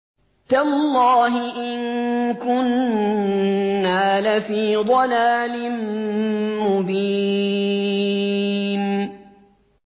تَاللَّهِ إِن كُنَّا لَفِي ضَلَالٍ مُّبِينٍ